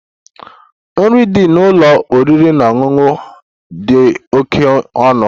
Nri dị n'ụlọ oriri na ọṅụṅụ a dị oke ọnụ.